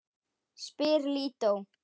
spyr Lídó.